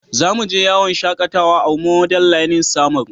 Za mu je yawon shakatawa a Model learning samaru.